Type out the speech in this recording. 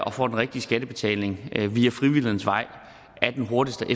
og får den rigtige skattebetaling via frivillighedens vej er den hurtigste og